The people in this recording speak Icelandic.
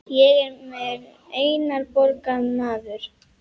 Ég er einnar borgar maður.